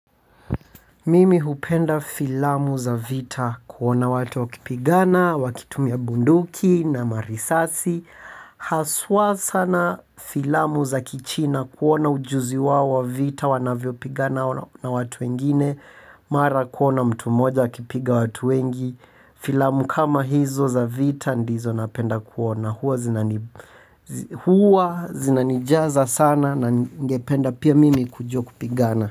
Mimi hupenda filamu za vita kuona watu wakipigana, wakitumia bunduki na marisasi. Haswa sana filamu za Kichina kuona ujuzi wao wa vita wanavyo pigana na watu wengine. Mara kuona mtu moja akipiga watu wengi. Filamu kama hizo za vita ndizo napenda kuona. Hua zinanijaza sana na ningependa pia mimi kujua kupigana.